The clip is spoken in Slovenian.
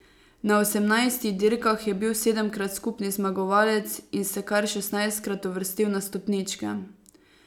Na osemnajstih dirkah je bil sedemkrat skupni zmagovalec in se kar šestnajstkrat uvrstil na stopničke.